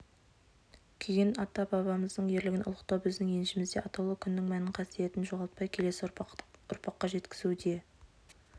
күйген ата-бабамыздың ерлігін ұлықтау біздің еншімізде атаулы күннің мәнін қасиетін жоғалтпай келесі ұрпаққа жеткізу де